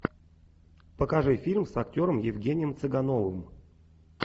покажи фильм с актером евгением цыгановым